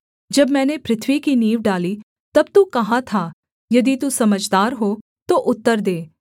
जब मैंने पृथ्वी की नींव डाली तब तू कहाँ था यदि तू समझदार हो तो उत्तर दे